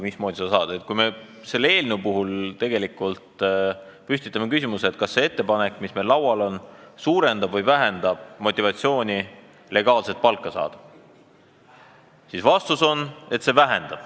Kui me selle eelnõu puhul püstitame küsimuse, kas see ettepanek, mis meil laual on, suurendab või vähendab motivatsiooni legaalset palka saada, siis vastus on, et vähendab.